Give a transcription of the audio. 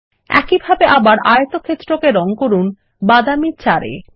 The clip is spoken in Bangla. একই ভাবে আবার আয়তক্ষেত্রকে রঙ করুন বাদামী 4 এ